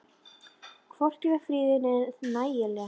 Hvorki var friður né nægileg fjárráð.